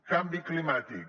canvi climàtic